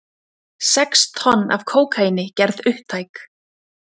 Sex tonn af kókaíni gerð upptæk